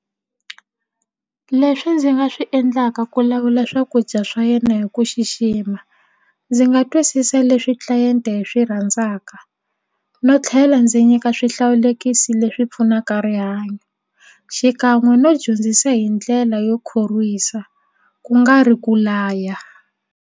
Leswi ndzi nga swi endlaka ku lawula swakudya swa yena hi ku xixima ndzi nga twisisa leswi tlilayente yi swi rhandzaka no tlhela ndzi nyika swihlawulekisi leswi pfunaka rihanyo xikan'we no dyondzisa hi ndlela yo khorwisa ku nga ri ku laya.